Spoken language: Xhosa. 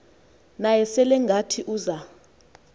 naye selengathi uza